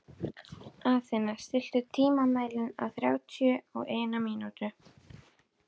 Athena, stilltu tímamælinn á þrjátíu og eina mínútur.